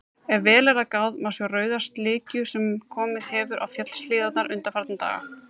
Ef vel er gáð, má sjá rauða slikju sem komið hefur á fjallshlíðarnar undanfarna daga.